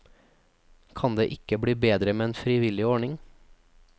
Kan det ikke bli bedre med en frivillig ordning?